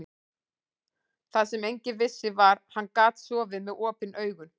Það sem enginn vissi var, að hann gat sofið með OPIN AUGUN.